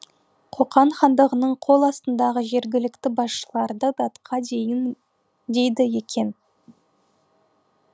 қоқан хандығының қол астындағы жергілікті басшыларды датқа дейді екен